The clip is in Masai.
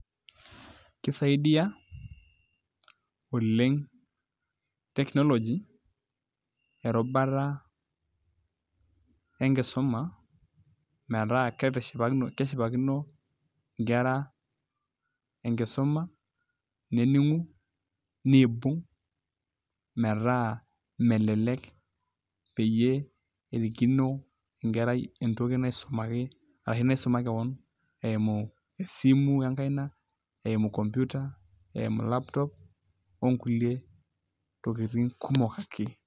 Kisaidia oleng teknoloji erubata enkisuma metaa keshipakino nkera enkisuma nening'u niibung' metaa melelek peyie erikino enkerai entoki naisumaki ashu naisuma keeon eimu esimu enkaina eimu computer eimu laptop onkulie tokitin kumok ake.